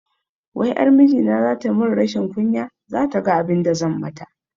Wai ƴar mijina zata mun rashin kunya, zata ga abinda zan mata